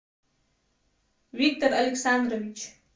виктор александрович